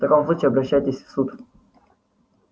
в таком случае обращайтесь в суд